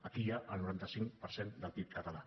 aquí hi ha el noranta cinc per cent del pib català